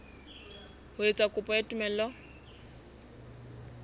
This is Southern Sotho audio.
ho etsa kopo ya tumello